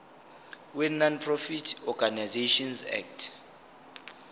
wenonprofit organisations act